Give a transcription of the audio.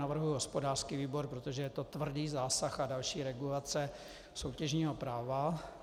Navrhuji hospodářský výbor, protože je to tvrdý zásah a další regulace soutěžního práva.